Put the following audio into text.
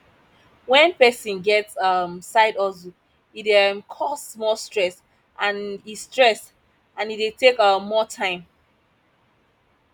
when persin get side um hustle e de um cause more stress and e stress and e de take um more time